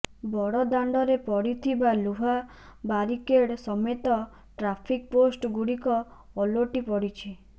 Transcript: ବଡ଼ଦାଣ୍ଡରେ ପଡ଼ିଥିବା ଲୁହା ବାରିକେଡ ସମେତ ଟ୍ରାଫିକ ପୋଷ୍ଟ ଗୁଡ଼ିକ ଓଲଟି ପଡ଼ିଛି